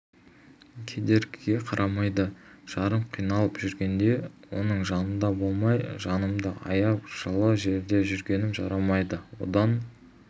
кедергіге қарамайды жарым қиналып жүргенде оның жанында болмай жанымды аяп жылы жерде жүргенім жарамайды одан